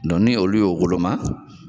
Dɔn ni olu y'o woloma